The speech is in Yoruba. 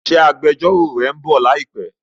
Ṣé agbẹjọ́rò rẹ ń bọ̀ láìpé?